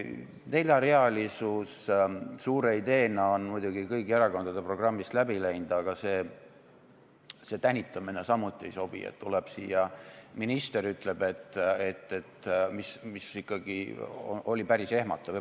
Neljarealisus suure ideena on muidugi kõigi erakondade programmist läbi läinud, aga see tänitamine samuti ei sobi, et tuleb siia minister ja ütleb midagi, mis on ikkagi päris ehmatav.